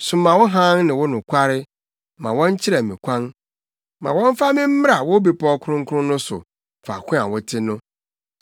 Soma wo hann ne wo nokware ma wɔnkyerɛ me kwan; ma wɔmfa me mmra wo Bepɔw Kronkron no so, faako a wote no.